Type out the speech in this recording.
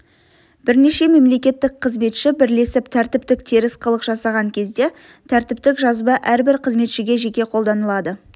бірнеше мемлекеттік қызметші бірлесіп тәртіптік теріс қылық жасаған кезде тәртіптік жаза әрбір қызметшіге жеке қолданылады